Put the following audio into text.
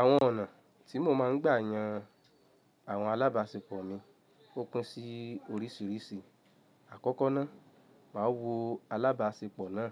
Àwọn ọ̀nà tí mo máa ń gbà yàn àwọn alábáṣepọ̀ mi ó pín sí oríṣìíríṣìí. Àkọ́kọ́ ná, màá wo alábáṣepọ̀ ná,